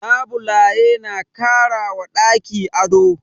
Labule na kara wa ɗaki ado.